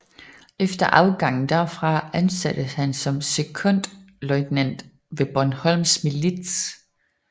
Efter afgangen derfra ansattes han som sekondløjtnant ved Bornholms Milits